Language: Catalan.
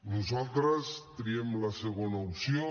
nosaltres triem la segona opció